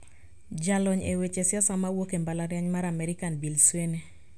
Jalony e weche siasa ma wuok e mbalariany mar American Bill Sweenay